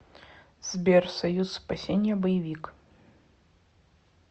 сбер союз спасение боевик